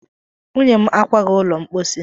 Nwunye m akwaghị ụlọ mposi.